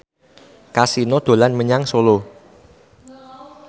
Kasino dolan menyang Solo